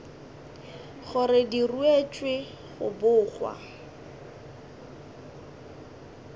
gore di ruetšwe go bogwa